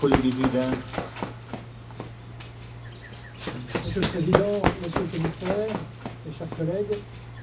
Monsieur le Président, Monsieur le Commissaire, chers collègues, je suis, philosophiquement, un libéral.